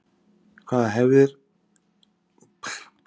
Hverjar eru hefðir og saga hrekkjavöku?